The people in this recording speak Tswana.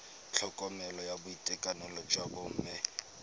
tlhokomelo ya boitekanelo jwa bomme